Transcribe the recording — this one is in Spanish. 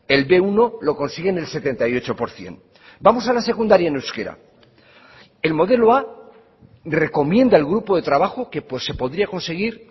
el be uno lo consiguen el setenta y ocho por ciento vamos a la secundaria en euskera el modelo a recomienda el grupo de trabajo que se podría conseguir